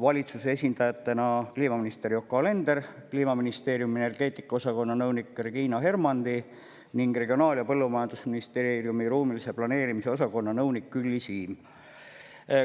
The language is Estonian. valitsuse esindajatena kliimaminister Yoko Alender, Kliimaministeeriumi energeetikaosakonna nõunik Regina Hermandi ning Regionaal- ja Põllumajandusministeeriumi ruumilise planeerimise osakonna nõunik Külli Siim.